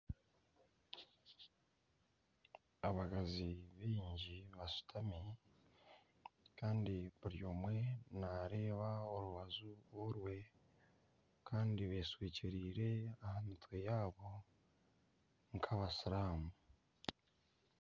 Abakazi baingi bashutami kandi buri omwe naareeba orubaju rye kandi betwekyereire aha mitwe yaabo nk'abasiramu.